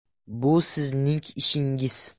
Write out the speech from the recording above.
Bu sizning ishingiz.